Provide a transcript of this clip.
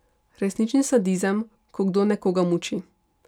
Resnični sadizem, ko kdo nekoga muči.